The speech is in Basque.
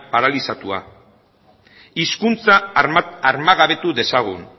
paralizatua hizkuntza armagabetu dezagun